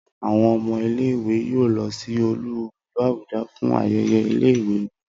Awọn ọmọ ile-iwe yoo lọ si olú ìlú Abuja fun ayẹyẹ ile-iwe wọn.